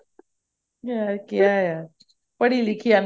ਹਾਂ ਕਿਹਾ ਹਿਆ ਪੜ੍ਹੀ ਲਿਖੀ